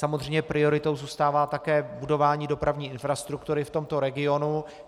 Samozřejmě prioritou zůstává také budování dopravní infrastruktury v tomto regionu.